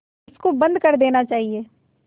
इसको बंद कर देना चाहिए